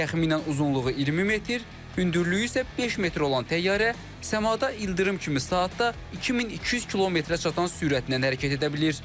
Təxminən uzunluğu 20 metr, hündürlüyü isə 5 metr olan təyyarə səmada ildırım kimi saatda 2200 km-ə çatan sürətlə hərəkət edə bilir.